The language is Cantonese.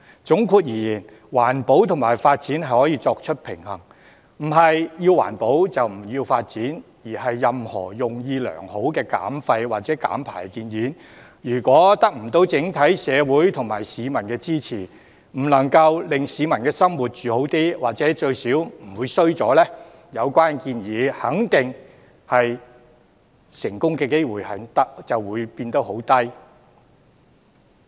總括而言，環保與發展可以平衡，不是要環保，就不要發展，而任何用意良好的減廢或減排建議，如果得不到整體社會及市民支持，不能令市民的生活改善，或最少不會變差，有關建議的成功機會肯定渺茫。